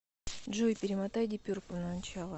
джой перемотай диперпл на начало